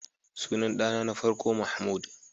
Sunan dana na farko Mahmud.